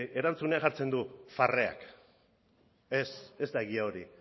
erantzunean jartzen du barreak ez ez da egia hori